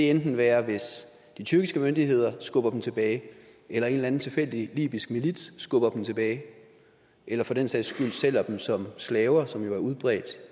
enten være hvis de tyrkiske myndigheder skubber dem tilbage eller en eller anden tilfældig libysk milits skubber dem tilbage eller for den sags skyld sælger dem som slaver som jo er udbredt